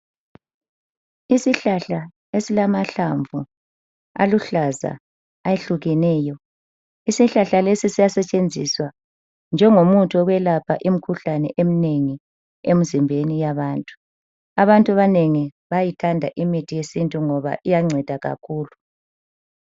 Isihlahla esilamahlamvu aluhlaza ayehlukeneyo. Isihlahla lesi siyasetshenziswa njengomuthi yokwelapha imikhuhlane eminengi emzimbeni yabantu. Abantu abanengi bayithanda imithi yesintu ngoba iyanceda kakhulu.